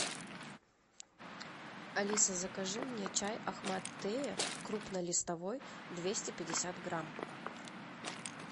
алиса закажи мне чай ахмад теа крупнолистовой двести пятьдесят грамм